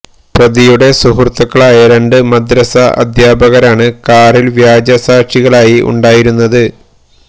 പ്രതിയുടെ സുഹൃത്തുക്കളായ രണ്ട് മദ്രസ അദ്ധ്യാപകരാണ് കാറിൽ വ്യാജ സാക്ഷികളായി ഉണ്ടായിരുന്നത്